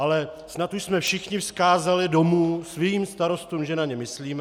Ale snad už jsme všichni vzkázali domů svým starostům, že na ně myslíme.